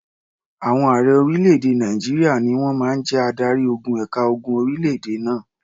Àwọn ààrẹ orílẹ̀-èdè Nàìjíríà ni wọ́n máa ń jẹ́ adarí-ogun ẹ̀ka ogun orílẹ̀-èdè náà.